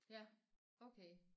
Ja okay